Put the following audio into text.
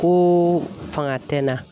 Ko fanga tɛ n na.